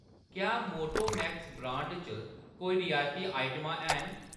क्या Motomax brand च कोई रियायती आइटमां हैन ?